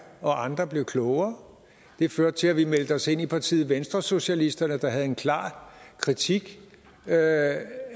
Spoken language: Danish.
og andre blev klogere det førte til at vi meldte os ind i partiet venstresocialisterne der havde en klar kritik af